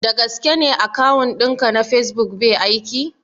Da gaske ne akawun ɗin ka na facebook bai aiki?